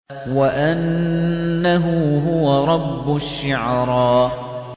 وَأَنَّهُ هُوَ رَبُّ الشِّعْرَىٰ